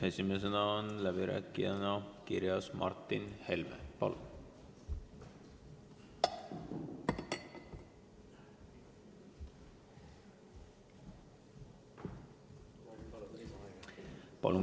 Esimesena on läbirääkijana kirjas Martin Helme.